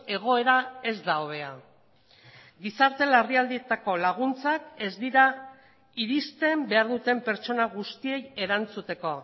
egoera ez da hobea gizarte larrialdietako laguntzak ez dira iristen behar duten pertsona guztiei erantzuteko